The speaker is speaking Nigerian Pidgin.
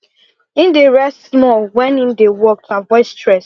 him dey rest small wen him dey work to avoid stress